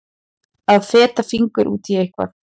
Að fetta fingur út í eitthvað